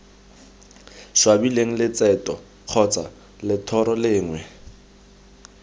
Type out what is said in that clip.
swabileng letseto kgotsa lethoro lengwe